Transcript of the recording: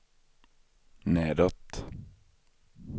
nedåt